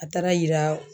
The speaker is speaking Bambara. A taara yira